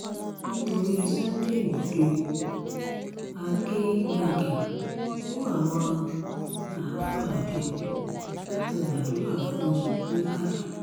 nítorí sunday igbodò akéégbágóń kó àwọn àáfàá jọ láti gbàdúrà fún un nìbàdàn